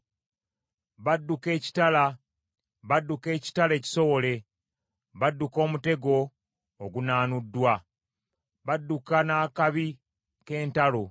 Badduka ekitala, badduka ekitala ekisowole, badduka omutego ogunaanuddwa, badduka n’akabi k’entalo.